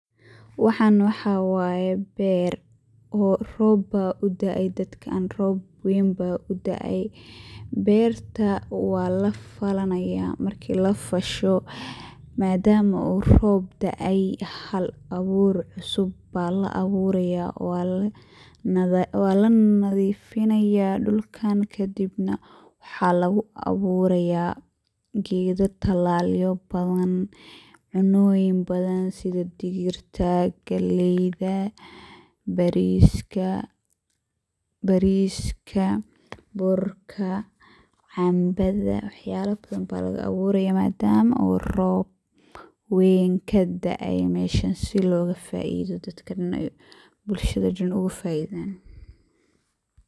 Waxan waxa waye beer. Rob aya udaay dadkan rob ween ba udaaay, berta walafalanaya marka lafasho madama uu rob daay hab abur cusub aya laaburaya wana lanadifinaya dhulkan kadibna waxa luguaburaya gedo talalyo, cunoyin badan sida digirta, galeyda, bariska, birka, cambada iyo waxayalo fara badan aya laaburaya madam uu rob badan kaaday meshaa sii logafaido dadkan bulshada logafaideyo.